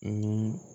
Ni